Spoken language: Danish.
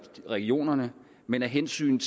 regionerne men af hensyn